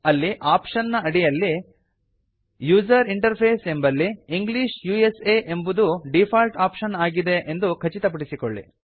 ಅಲ್ಲಿ ಆಪ್ಶನ್ ನ ಅಡಿಯಲ್ಲಿ ಯುಸರ್ ಇಂಟರ್ಫೇಸ್ ಎಂಬಲ್ಲಿ ಇಂಗ್ಲಿಷ್ ಉಸಾ ಎಂಬುದು ಡೀಫಾಲ್ಟ್ ಆಪ್ಶನ್ ಆಗಿ ಇದೆ ಎಂದು ಖಚಿತಪಡಿಸಿಕೊಳ್ಳಿ